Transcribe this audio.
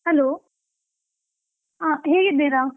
Hello , ಆ ಹೇಗಿದ್ದೀರಾ?